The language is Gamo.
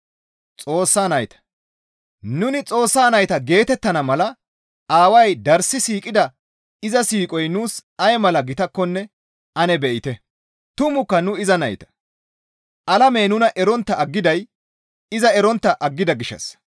Nuni Xoossa nayta geetettana mala Aaway darssi siiqida iza siiqoy nuus ay mala gitakkonne ane be7ite! Tumukka nu iza nayta; alamey nuna erontta aggiday iza erontta aggida gishshassa.